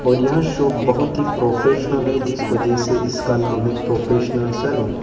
और यह शोप बहुत ही प्रोफेशनल हैं जिस वजह से इसका नाम हैं प्रोफेशनल सैलून ।